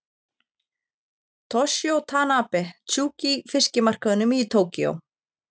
Toshizo Tanabe, Tsukiji fiskmarkaðnum í Tókíó.